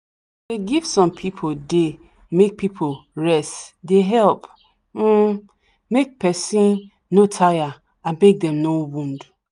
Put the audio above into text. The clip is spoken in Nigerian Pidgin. dey give some day make people rest dey help um make person no taya and make them no wund